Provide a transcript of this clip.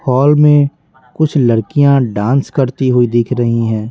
Hall में कुछ लड़कियाँ डांस करती हुई दिख रही हैं।